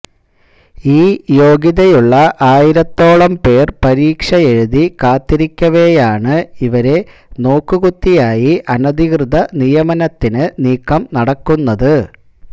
ഈ യോഗ്യതയുള്ള ആയിരത്തോളം പേര് പരീക്ഷയെഴുതി കാത്തിരിക്കവെയാണ് ഇവരെ നോക്കുകുത്തിയായി അനധികൃത നിയമനത്തിന് നീക്കം നടക്കുന്നത്